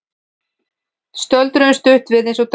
Stöldruðu stutt við eins og döggin.